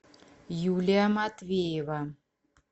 юлия матвеева